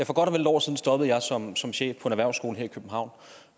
godt og vel et år siden stoppede jeg som som chef på en erhvervsskole her i københavn